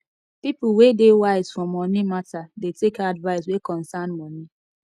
people wey dey wise for moni mata dey take advice wey concern moni